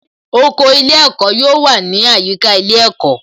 Oko ilé ẹ̀kọ́ yóò wà ní àyíká ilé ẹ̀kọ́